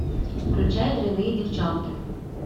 включай дрянные девчонки